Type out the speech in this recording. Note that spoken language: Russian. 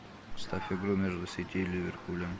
поставь игру между сити и ливерпулем